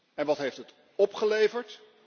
En wat heeft het opgeleverd?